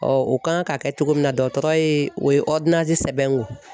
u kan k'a kɛ cogo min na dɔgɔtɔrɔ ye o ye sɛbɛn n kun